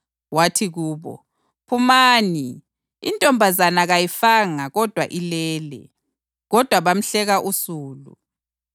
wathi kubo, “Phumani. Intombazana kayifanga kodwa ilele.” Kodwa bamhleka usulu.